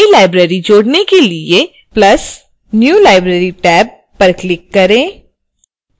नई library को जोड़ने के लिए + new library टैब पर click करें